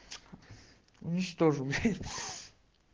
уничтожил блять ха